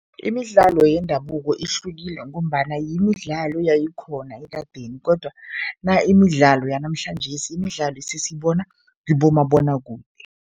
Imidlalo yendabuko ihlukile ngombana yimidlalo yayikhona ekadeni kodwana imidlalo yanamhlanjesi, imidlalo esesiyibona kibomabonwakude.